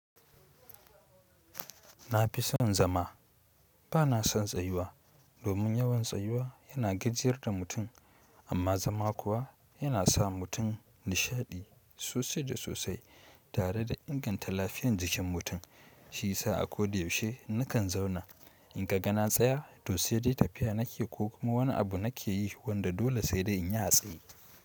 Na fi son zama ba na son tsayuwa, domin yawan tsayuwa yana gajiyar da mutum amma zama kuwa yana sa mutum nishaɗi sosai da sosai tare da inganta lafiyan jikin mutum. Shiyasa a ko da yaushe nakan zauna in ka ga na tsaya to sai dai tafiya nake ko kuma wani abu nake yi wanda dole sai dai in yi a tsaye.